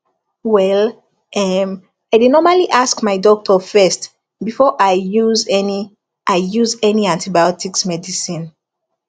well erm i dey normally ask my doctor first before i use any i use any antibiotics medicine